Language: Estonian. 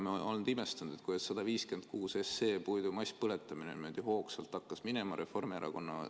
Me oleme imestunud, kuidas eelnõu 156, puidu masspõletamise eelnõu, niimoodi hoogsalt edasi hakkas liikuma.